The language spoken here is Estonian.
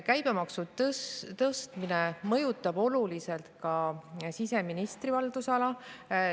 " Käibemaksu tõstmine mõjutab oluliselt ka siseministri haldusala.